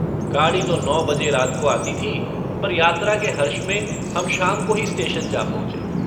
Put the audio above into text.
गाड़ी तो नौ बजे रात को आती थी पर यात्रा के हर्ष में हम शाम को ही स्टेशन जा पहुँचे।